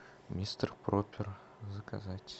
мистер пропер заказать